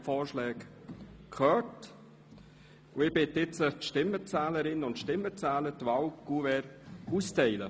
Ich bitte die Stimmenzählerinnen und Stimmenzähler die Wahlkuverts auszuteilen.